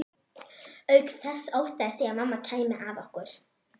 Auk þess óttaðist ég að mamma kæmi að okkur.